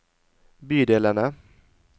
bydelene